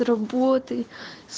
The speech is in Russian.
работай